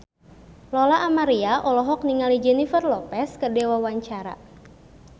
Lola Amaria olohok ningali Jennifer Lopez keur diwawancara